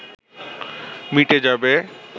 মিটে যাবে